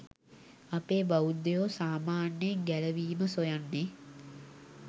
අපේ බෞද්ධයෝ සාමාන්‍යයෙන් ගැලවීම සොයන්නේ